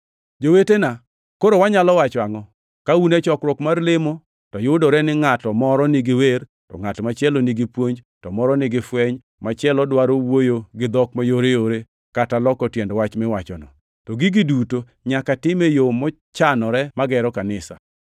Jowetena, koro wanyalo wacho angʼo? Ka un e chokruok mar lemo, to yudore ni ngʼat moro nigi wer, to ngʼat machielo nigi puonj, to moro nigi fweny, to machielo dwaro wuoyo gi dhok mayoreyore kata loko tiend wach miwachono. To gigi duto nyaka tim e yo mochanore magero kanisa.